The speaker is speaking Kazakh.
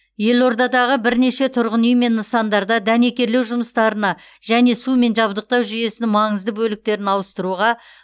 елордадағы бірнеше тұрғын үй мен нысандарда дәнекерлеу жұмыстарына және сумен жабдықтау жүйесінің маңызды бөліктерін ауыстыруға